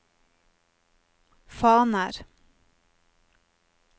faner